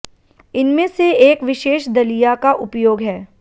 इनमें से एक विशेष दलिया का उपयोग है